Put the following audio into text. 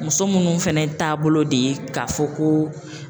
Muso minnu fɛnɛ taabolo de ye k'a fɔ ko